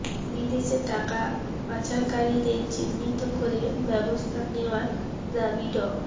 বিদেশে টাকা পাচারকারীদের চিহ্নিত করে ব্যবস্থা নেওয়ার দাবি ড